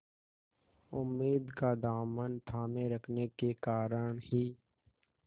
उम्मीद का दामन थामे रखने के कारण ही